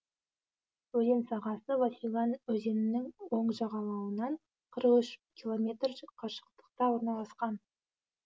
өзен сағасы васюган өзенінің оң жағалауынан қырық үш километр қашықтықта орналасқан